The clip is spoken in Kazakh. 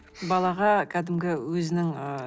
балаға кәдімгі өзінің ыыы